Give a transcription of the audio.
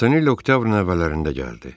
Montanelli oktyabrın əvvəllərində gəldi.